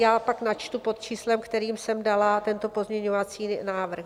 Já pak načtu pod číslem, kterým jsem dala tento pozměňovací návrh.